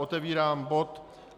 Otevírám bod